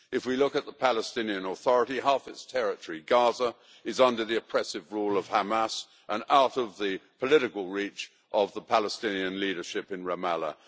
If we look at the Palestinian Authority, half of its territory, Gaza, is under the oppressive rule of Hamas and out of the political reach of the Palestinian leadership in Ramallah.